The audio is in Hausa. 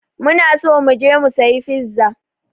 Muna so mu je mu sayi fiza.